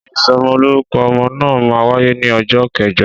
Ìsọmọlórúkọ ọmọ náà máa wáyé ní ọjọ́ kẹjọ